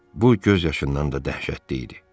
Bu göz yaşından da dəhşətli idi.